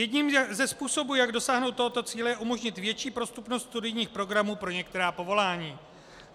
Jedním ze způsobů, jak dosáhnout tohoto cíle, je umožnit větší prostupnost studijních programů pro některá povolání.